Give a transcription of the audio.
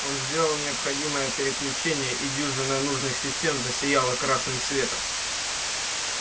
он сделал необходимые переключения и дюжина нужных систем засияла красным светом